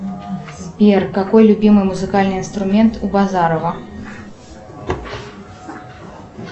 сбер какой любимый музыкальный инструмент у базарова